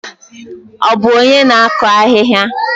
Ọ bụ onye na-akụ ahịhịa?